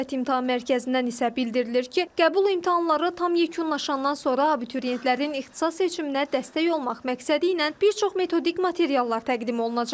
Dövlət İmtahan Mərkəzindən isə bildirilir ki, qəbul imtahanları tam yekunlaşandan sonra abituriyentlərin ixtisas seçiminə dəstək olmaq məqsədi ilə bir çox metodik materiallar təqdim olunacaq.